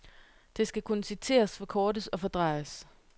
Det skal kunne citeres, forkortes og fordrejes.